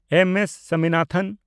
ᱮᱢ. S. Swaminathan